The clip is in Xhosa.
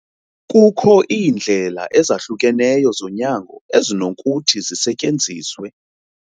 Kukho iindlela ezahlukeneyo zonyango ezinokuthi zisetyenziswe.